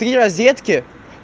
три розетки